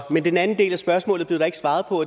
men den anden del af spørgsmålet blev der ikke svaret på